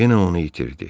Yenə onu itirdi.